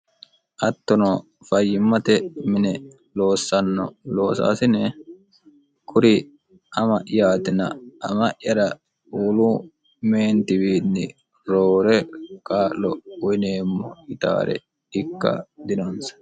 Hattono fayyimmate mine loossanno loosaasine kuri ama'yaatina ama'yara wolu meentiwiinni roore qaa'lo uyineemmo yitaare ikka dinoonsa.